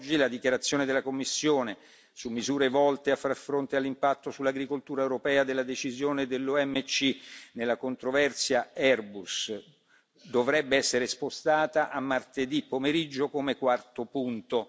La dichiarazione della Commissione sulle misure volte a far fronte all'impatto sull'agricoltura europea della decisione dell'OMC nella controversia Airbus dovrebbe essere spostata a martedì pomeriggio come quarto punto.